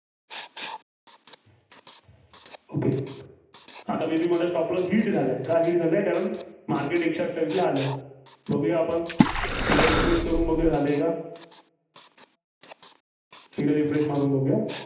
okay आता may be माझा stop loss hit झालाय. का झालाय कारण maret एकशे अठ्ठावीसला आलं. बहुया आपण. एकदा refresh करून बघुया, झालंय का? सगळं refresh मारून बघुया.